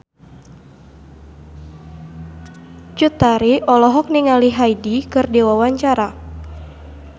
Cut Tari olohok ningali Hyde keur diwawancara